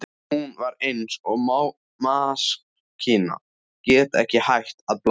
Hún var eins og maskína, gat ekki hætt að blaðra.